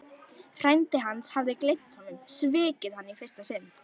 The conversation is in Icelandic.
Frændi hans hafði gleymt honum, svikið hann í fyrsta sinn.